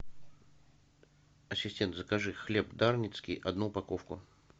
ассистент закажи хлеб дарницкий одну упаковку